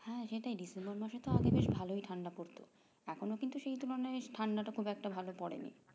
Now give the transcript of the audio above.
হ্যাঁ সেটাই december মাসে তো আগে বেশ ভালোই ঠান্ডা পড়তো এখনো কিন্তু সেইতো মানে ঠান্ডাটা খুব একটা ভালো পরেনি